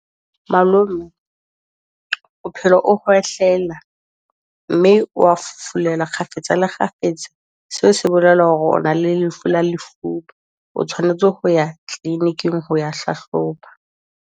Malome o phela o khwehlela, mme wa fufulelwa kgafetsa le kgafetsa. Seo se bolela hore o na le lefu la lefuba, o tshwanetse ho ya clinic-ing ho ya hlahloba.